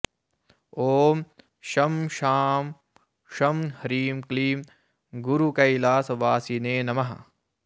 ॐ शं शां षं ह्रीं क्लीं गुरुकैलासवासिने नमः